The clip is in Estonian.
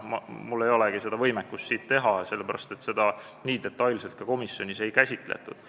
Mul ei olegi võimekust seda teha, sest seda nii detailselt komisjonis ei käsitletud.